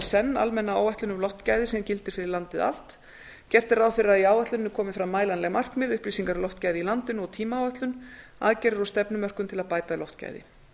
senn almenna áætlun um loftgæði sem gildi fyrir landið allt gert er ráð fyrir að í áætluninni komi fram mælanleg markmið upplýsingar um loftgæði í landinu og tímaáætlun aðgerðir og stefnumörkun til að bæta loftgæði